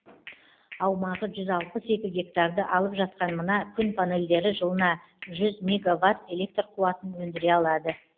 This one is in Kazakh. аумағы жүз алпыс екі гектарды алып жатқан мына күн панельдері жылына жүз мегаватт электр қуатын өндіре алады